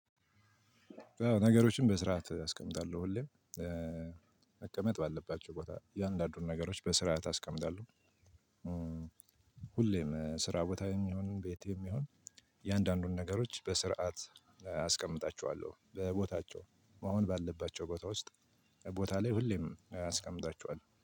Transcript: ነገሮችን በስርዓት አስቀምጣለሁ ሁሌም መቀመጥ ባለባቸው ቦታ እያንዳንዱን ነገሮች በስርዓት አስቀምጣለው። ሁሌም ስራ ቦታም ይሁን ቤት ይሁን እያንዳንዱን ነገሮች በስርዓት አስቀምጣችኋለሁ በቦታቸው መሆን ባለባቸው ቦታ ውስጥ ቦታ ላይ ሁሌም አስቀምጣቸዋለሁ